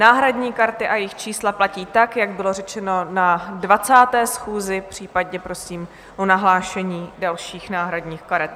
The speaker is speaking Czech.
Náhradní karty a jejich čísla platí tak, jak bylo řečeno na 20. schůzi, případně prosím o nahlášení dalších náhradních karet.